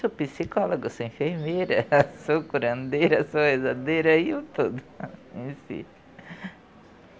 Sou psicóloga, sou enfermeira, sou curandeira, sou rezadeira e tudo.